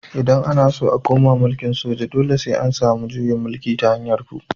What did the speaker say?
Idan ana so a koma mulkin soja dole sai an samu juyin mulki ta hanyar ku